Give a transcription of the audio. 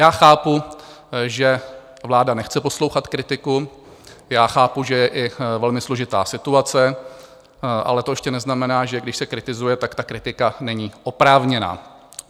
Já chápu, že vláda nechce poslouchat kritiku, já chápu, že je i velmi složitá situace, ale to ještě neznamená, že když se kritizuje, tak ta kritika není oprávněná.